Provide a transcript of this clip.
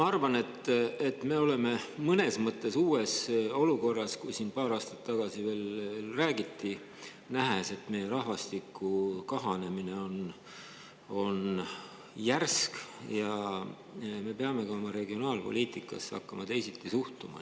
Ma arvan, et me oleme mõnes mõttes uues olukorras, kui siin veel paar aastat tagasi räägiti, nähes, et meie rahvastiku kahanemine on järsk ja me peame oma regionaalpoliitikasse hakkama teisiti suhtuma.